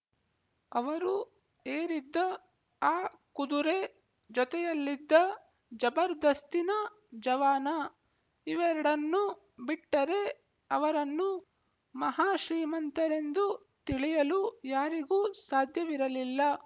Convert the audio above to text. ಅವರು ಏರಿದ್ದ ಆ ಕುದುರೆ ಜೊತೆಯಲ್ಲಿದ್ದ ಜಬರ್ದಸ್ತಿನ ಜವಾನ ಇವೆರಡನ್ನು ಬಿಟ್ಟರೆ ಅವರನ್ನು ಮಹಾ ಶ್ರೀಮಂತರೆಂದು ತಿಳಿಯಲು ಯಾರಿಗೂ ಸಾಧ್ಯವಿರಲಿಲ್ಲ